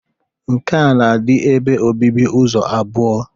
Nke a na-adị ebe obibi ụzọ abụọ.